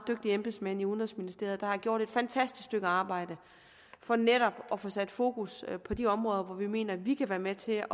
embedsmænd i udenrigsministeriet der har gjort et fantastisk stykke arbejde for netop at få sat fokus på de områder hvor vi mener vi kan være med til